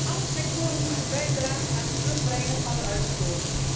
is essentieel. Alle sectoren moeten bijdragen aan het terugbrengen